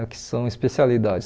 O que são especialidades?